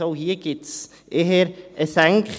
Es gibt also auch hier eher eine Senkung.